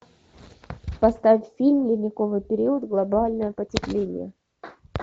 поставь фильм ледниковый период глобальное потепление